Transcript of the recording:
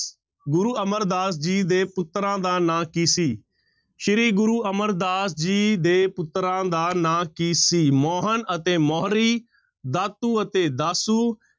ਗੁਰੂ ਅਮਰਦਾਸ ਜੀ ਦੇ ਪੁੱਤਰਾਂ ਦਾ ਨਾਂ ਕੀ ਸੀ, ਸ੍ਰੀ ਗੁਰੂ ਅਮਰਦਾਸ ਜੀ ਦੇ ਪੁੱਤਰਾਂ ਦਾ ਨਾਂ ਕੀ ਸੀ, ਮੋਹਨ ਅਤੇ ਮੋਹਰੀ, ਦਾਤੂ ਅਤੇ ਦਾਸੂ,